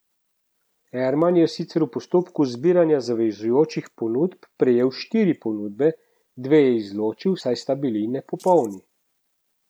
Erman je sicer v postopku zbiranja zavezujočih ponudb prejel štiri ponudbe, dve je izločil, saj sta bili nepopolni.